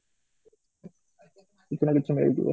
କିଛି ନା କିଛି ମିଳିଯିବ